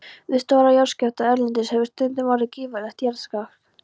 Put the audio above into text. Við stóra jarðskjálfta erlendis hefur stundum orðið gífurlegt jarðrask.